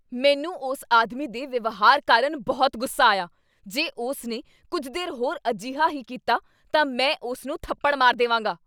ਮੈਨੂੰ ਉਸ ਆਦਮੀ ਦੇ ਵਿਵਹਾਰ ਕਾਰਨ ਬਹੁਤ ਗੁੱਸਾ ਆਇਆ। ਜੇ ਉਸ ਨੇ ਕੁੱਝ ਦੇਰ ਹੋਰ ਅਜਿਹਾ ਹੀ ਕੀਤਾ ਤਾਂ ਮੈਂ ਉਸ ਨੂੰ ਥੱਪੜ ਮਾਰ ਦੇਵਾਂਗਾ।